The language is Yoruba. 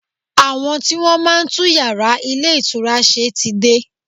Àwọn tí Wọ́n máa ń tún yàrá ilé ìtura ṣe ti dé.